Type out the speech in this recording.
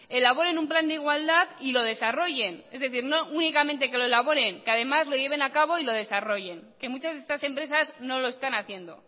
elaboren un plan de igualdad y lo desarrollen es decir no únicamente que lo elaboren que además lo lleven a cabo y lo desarrollen que muchas de estas empresas no lo están haciendo